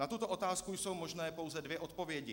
Na tuto otázku jsou možné pouze dvě odpovědi.